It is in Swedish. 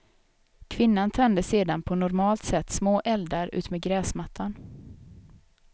Kvinnan tände sedan på normalt sätt små eldar utmed gräsmattan.